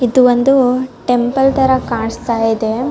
ಇದು ಒಂದು ಟೆಂಪಲ್ ತರ ಕಾಣ್ಸ್ತಾ ಇದೆ .